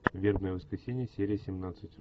вербное воскресенье серия семнадцать